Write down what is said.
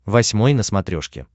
восьмой на смотрешке